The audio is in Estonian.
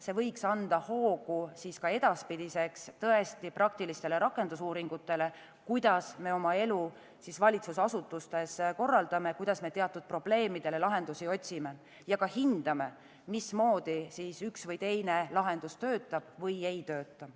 See võiks anda hoogu edaspidiseks tõesti praktilistele rakendusuuringutele, kuidas me oma elu valitsusasutustes korraldame, kuidas me teatud probleemidele lahendusi otsime, ja ka hindame, mismoodi üks või teine lahendus töötab või ei tööta.